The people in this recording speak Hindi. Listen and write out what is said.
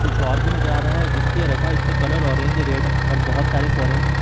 कुछ और भी नजर आ रहा है जिस पर ये रखा है उसका कलर ऑरेंज रेड और बहोत सारे ऑरेंज --